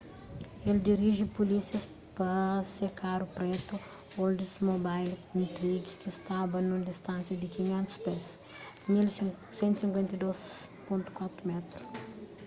el diriji pulísias pa se karu pretu oldsmobile intrigue ki staba nun distánsia di 500 pés 152.4m